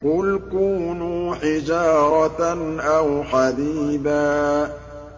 ۞ قُلْ كُونُوا حِجَارَةً أَوْ حَدِيدًا